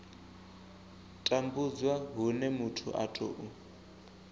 tambudzwa hune muthu a tou